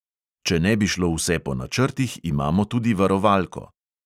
Če ne bi šlo vse po načrtih, imamo tudi varovalko.